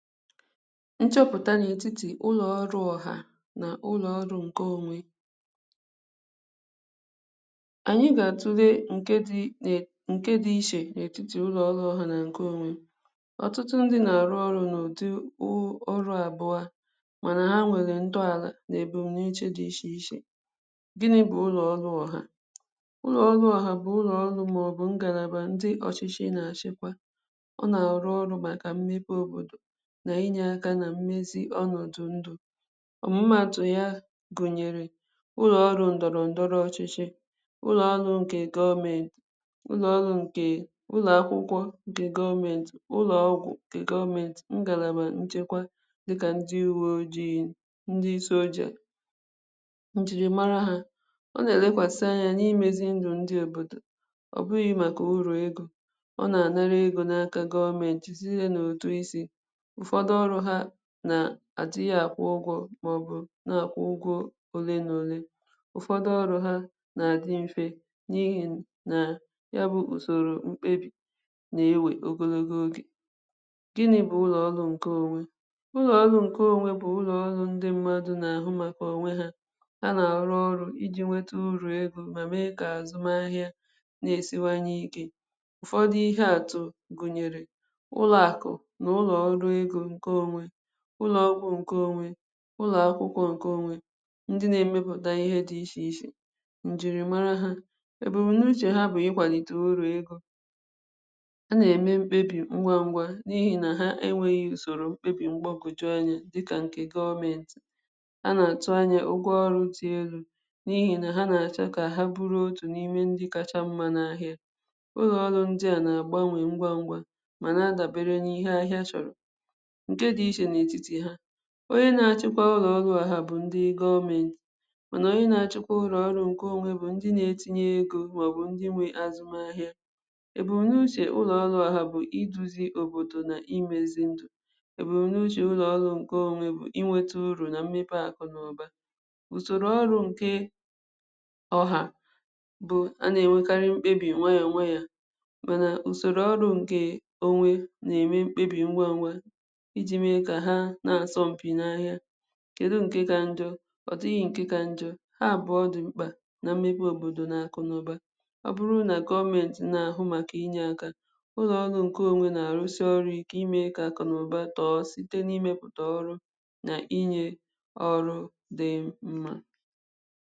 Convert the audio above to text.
Nchọpụtà n’etiti ụlọ̀ ọrụ̀ ọhà na ụloọrụ̀ nke onwe anyị̀ ga-atule nke dị̀ ne nke dị iche n’etiti ụlọ̀ ọlụ̀ ọhà na nke onwe ọtụtụ ndị na-arụ̀ ọrụ n’udu u ọrụ̀ abụọ̀ manà ha nwegà ntọalà na ebumunuche dị iche ichè gịnị̀ bụ̀ ụlọ̀ ọrụ̀ ọhà? ụlọ̀ ọrụ̀ ọhà bụ̀ ụlọ̀ ọrụ̀ maọ̀bụ̀ ngalabà ndị̀ ọchịchị̀ na-achịkwà ọ na-arụ̀ ọrụ̀ makà mmepe òbodò na-inye akà na mmezi ọnọdụ̀ ndụ̀ ọmụmatụ̀ yà gunyerè ụlọ ọrụ ndọrọ ndọrọ̀ ọchịchị̀ ụlọ ọrụ nke gọọmenti ụlọ ọrụ̀ nke ụlọ akwụkwọ̀ nke gọọmenti ụlọ ọgwụ̀nke gọọmenti ngalabà nchekwà dịkà ndị uwe ojii ndị̀ soldier njirimarà ha ọ na-elekwasị anya na-emezi ndụ̀ ndị òbodò ọ bụghị̀ makà uru egō ọ na-anarà egō n’akà gọọmenti di ihe n’otù i sì ụfọdụ̀ ọrụ ha na adịghị̀ akwụ̀ ụgwọ̀ maọ̀bụ̀ na-akwụ ụgwọ̀ ole na olè ụfọdụ̀ ọrụ ha na-adị̀ mfè n’ihi na ya bụ̀ usoro m̄kpebi na-ewe ogologo oge. Gịnị bụ ụlọ ọrụ̀ nke onwe? Ụlọ ọrụ̀ nke onwe bụ̀ ụlọ̀ ọrụ̀ ndị̀ mmadụ̀ na-ahụ̀ makà onwe ha ha na-arụ̀ ọrụ̀ iji nweta uru egō ma mee kà azụma ahịà na-esiwanye ike ọ dị ihe atụ̀ gunyerè ụlọ akụ̀ n’ụlọ̀ ọrụ egō nke onwe ụlọ ọrụ̀ nke onwe ụlọ akwụkwọ̀ nke onwe ndị na-emeputà ihe dị iche ichè njirimarà ha ebumunuche ha bụ̀ ikwalite uru egō a na-eme m̄kpebi ngwa ngwà n’ihi na ha enweghi usoro m̄kpebi mgbagoju anya dịkà nke gọọmenti a na-atụ anya ụgwọ̀ ọrụ̀ dị̀ elu n’ihi na ha na-achọ̀ ka ha bụrụ otù n’ime ndị kachà mma n’ahịà ụlọ ọrụ̀ ndị à na-agbanwe ngwa ngwà mana adabere n’ihe ahịà chọrọ̀ nke dị iche n’etiti ha onye na-achikwà ụlọ ọrụ ha bụ̀ ndị gọọmenti manà onye na-achịkwà ụlọ ọrụ̀ nke onwe bụ ndị na-etinye egō maọ̀bụ̀ ndị̀ nwe azụma ahịà ebumunuche ụlọ ọrụ̀ ha bụ̀ iduzì òbodò na imezi ndụ ebumunuche ụlọ ọrụ̀ nke onwe bụ̀ inwetà uru na mmepe akpà bụ̀ usoro ọrụ̀ nke ọhà bụ a na-enwekari m̄kpebi nwa ya nwa yà manà usoro ọrụ nke onwe na-enwe m̄kpebi ngwa ngwà iji mee kà ha na-asọ mpị̀ n’ahịà. Kedu nke kà njọ̀? Ọ dịghị̀ nke kà njọ̀ ha abụọ̀ dị m̄kpà na mmepe òbodò na akụ̀ na ụbà ọ bụrụ̀ na gọọmenti na ahụ makà inye akà ụlọ ọrụ̀ nke onwe na-aru̇sị ọrụ ike ime kà akụ̀ na ụbà tọọ sitē n’imeputà ọrụ̀ na inye ọrụ dị mma